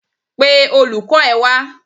Pe olùkọ́ ẹ wá.